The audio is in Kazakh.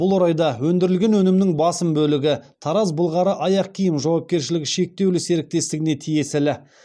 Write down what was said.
бұл орайда өндірілген өнімнің басым бөлігі тараз былғары аяқ киім жауапкершілігі шектеулі серіктестігіне тиесілі